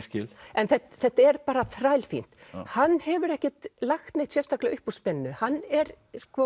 en þetta er bara þrælfínt hann hefur ekkert lagt neitt sérstaklega upp úr spennu hann er